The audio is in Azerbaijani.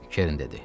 Kerin dedi.